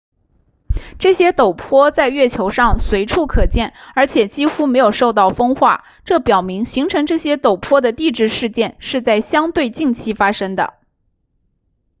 这些陡坡在月球上随处可见而且几乎没有受到风化这表明形成这些陡坡的地质事件是在相对近期发生的